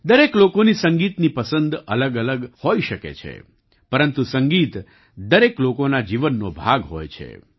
દરેક લોકોની સંગીતની પસંદ અલગઅલગ હોઈ શકે છે પરંતુ સંગીત દરેક લોકોના જીવનનો ભાગ હોય છે